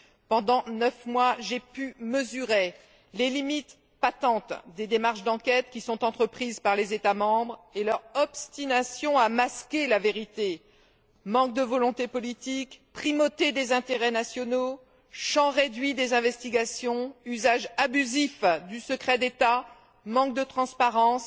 Pendant neuf mois, j'ai pu mesurer les limites patentes des démarches d'enquête qui sont entreprises par les États membres et leur obstination à masquer la vérité manque de volonté politique, primauté des intérêts nationaux, champ réduit des investigations, usage abusif du secret d'État, manque de transparence,